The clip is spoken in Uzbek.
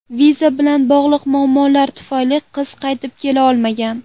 Viza bilan bog‘liq muammolar tufayli qiz qaytib kela olmagan.